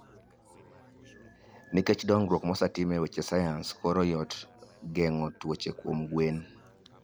Nikech dongruok mosetim e weche sayans, koro yot geng'o tuoche kuom gwen.